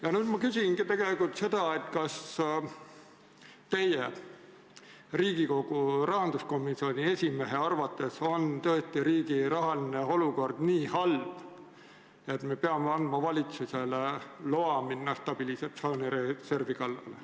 Ja nüüd ma küsingi, kas teie, Riigikogu rahanduskomisjoni esimehe arvates on riigi rahaline olukord tõesti nii halb, et me peame andma valitsusele loa minna stabiliseerimisreservi kallale.